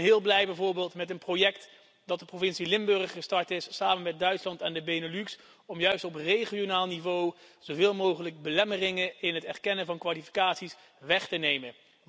Ik ben bijvoorbeeld heel blij met een project dat de provincie Limburg gestart is samen met Duitsland en de Benelux om juist op regionaal niveau zoveel mogelijk belemmeringen in verband met het erkennen van kwalificaties weg te nemen.